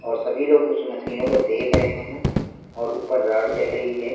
और सभी लोग उस मशीनो को देख रहे हैं और ऊपर रॉड जल रही है।